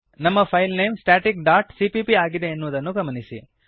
ನಮ್ಮ file name static dot CPP ಆಗಿದೆ ಎನ್ನುವುದನ್ನು ಗಮನಿಸಿರಿ